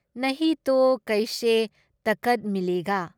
ꯅꯍꯤ ꯇꯣ ꯀꯩꯁꯦ ꯇꯥꯀꯠ ꯃꯤꯂꯦꯒꯥ ꯫"